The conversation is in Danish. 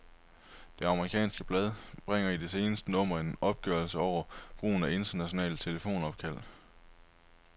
Det amerikanske blad bringer i det seneste nummer en opgørelse over brugen af internationale telefonopkald.